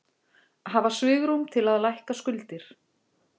Hafa svigrúm til að lækka skuldir